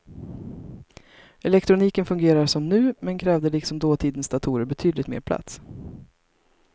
Elektroniken fungerade som nu, men krävde liksom dåtidens datorer betydligt mer plats.